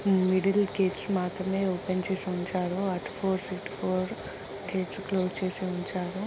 Middle gates మాత్రమే open చేసి ఉంచారు అటు ఫోర్స్ ఇటు ఫోర్ గేట్స్ క్లోజ్ చేసి ఉంచారు.